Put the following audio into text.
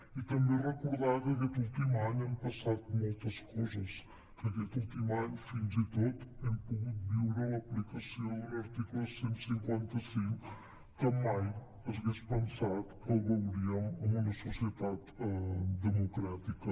i també recordar que aquest últim any hem passat coses que aquest últim any fins i tot hem pogut viure l’aplicació d’un article cent i cinquanta cinc que mai s’hagués pensat que el veuríem en una societat democràtica